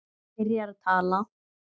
Hann byrjar að tala.